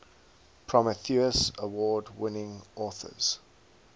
prometheus award winning authors